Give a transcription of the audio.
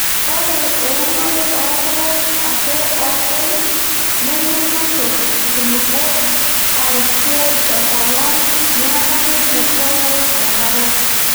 Ore eunore oo rpayek ake oopeny nemeitushurr nkulupuok aarishie enkolong neeku keibukoo enkare.